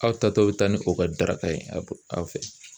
Aw ta tɔ bɛ taa ni o ka daraka ye aw fɛ